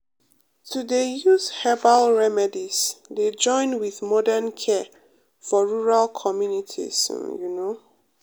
to dey use use herbal remedies dey join with modern care for rural communities um you know.